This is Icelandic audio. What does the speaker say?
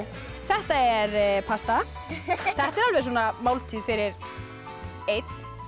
þetta er pasta þetta er alveg máltíð fyrir einn